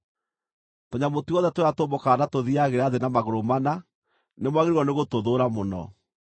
“ ‘Tũnyamũ tuothe tũrĩa tũmbũkaga na tũthiiagĩra thĩ na magũrũ mana nĩ mwagĩrĩirwo nĩ gũtũthũũra mũno.